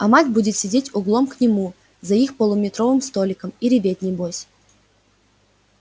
а мать будет сидеть углом к нему за их полуметровым столиком и реветь небось